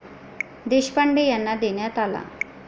देशपांडे यांना देण्यात आला.